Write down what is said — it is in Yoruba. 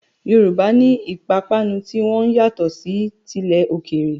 Yorùbá ní ìpapánu ti wọn yàtọ̀ sí tilẹ̀ òkèèrè.